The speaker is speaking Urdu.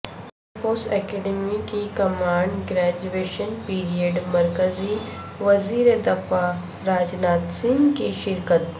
ایرفورس اکیڈیمی کی کمبائنڈ گریجویشن پریڈ مرکزی وزیردفاع راجناتھ سنگھ کی شرکت